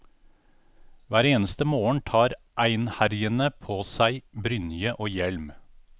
Hver eneste morgen tar einherjene på seg brynje og hjelm.